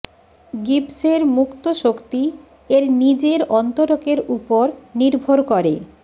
গিবসের মুক্ত শক্তি এর নিজের অন্তরকের উপর নির্ভর করেঃ